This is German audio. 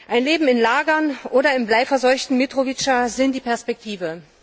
Ein Leben in Lagern oder im bleiverseuchten Mitrovica ist die Perspektive.